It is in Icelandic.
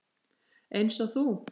Eins og þú.